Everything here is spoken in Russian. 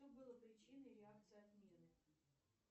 что было причиной реакции отмены